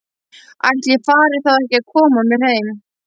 Ætli ég fari þá ekki að koma mér heim.